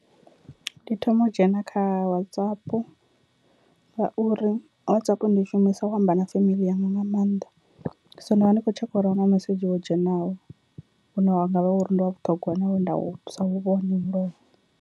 Ndi thoma u dzhena kha WhatsApp ngauri WhatsApp ndi i shumisa u amba na family yanga nga maanḓa, so nda vha ndi khou tshekha uri ahuna mesedzhi wo dzhenaho une wa ngavha uri ndi wa vhuṱhongwa na we nda si u vhone mulovha.